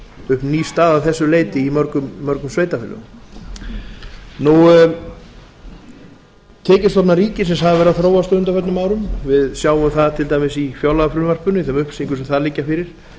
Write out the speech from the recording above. upp ný staða að þessu leyti í mörgum sveitarfélögum tekjustofnar ríkisins hafa verið að þróast á undanförnum árum við sjáum það til dæmis í fjárlagafrumvarpinu í þeim upplýsingum sem þar liggja fyrir